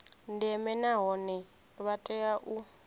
ndeme nahone vha tea u